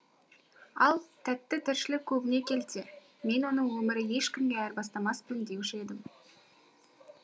ал тәтті тіршілік көбіне келте мен оны өмірі ешкімге айырбастамаспын деуші едім